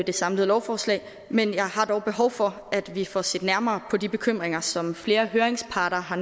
det samlede lovforslag men jeg har dog behov for at vi får set nærmere på de bekymringer som flere høringsparter har